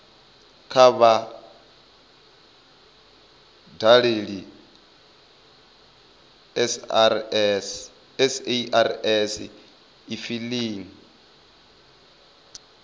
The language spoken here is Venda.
kha vha dalele sars efiling